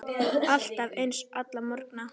Alltaf eins, alla morgna.